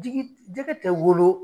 Jigi jɛgɛ tɛ wolo.